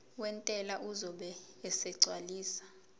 wentela uzobe esegcwalisa